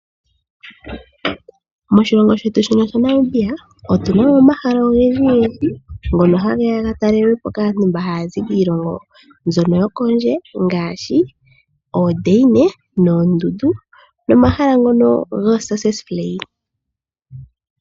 Moshilongo shetu shino sha Namibia otu na mo omahala ogendji gendji ngono ha geya ga talelwe po kaantu mboka haya zi kiilongo mbono yokondje ngaashi oondeina noondundu nomahala ngono go Seseflei.